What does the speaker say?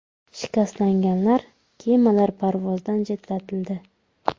Shikastlangan kemalar parvozdan chetlatildi.